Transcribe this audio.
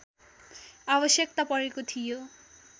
आवश्यकता परेको थियो